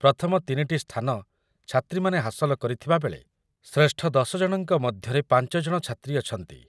ପ୍ରଥମ ତିନିଟି ସ୍ଥାନ ଛାତ୍ରୀମାନେ ହାସଲ କରିଥିବାବେଳେ ଶ୍ରେଷ୍ଠ ଦଶ ଜଣଙ୍କ ମଧ୍ୟରେ ପାଞ୍ଚ ଜଣ ଛାତ୍ରୀ ଅଛନ୍ତି ।